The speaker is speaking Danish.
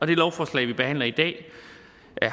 det lovforslag vi behandler i dag